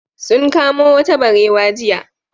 Sun kamo wata barewa jiya.